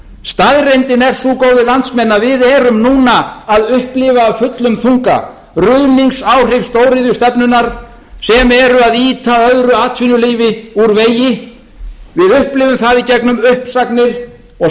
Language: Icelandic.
staðreyndin er sú góðir landsmenn að við erum núna að upplifa af fullum þunga ruðningsáhrif stóriðjustefnunnar sem eru að ýta öðru atvinnulífi úr vegi við upplifum það í gegnum uppsagnir og